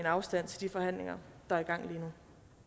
afstand til forhandlingerne der